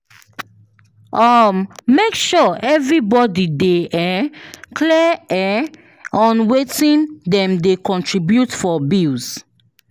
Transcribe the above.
um Make sure everybody dey um clear um on wetin dem dey contribute for bills.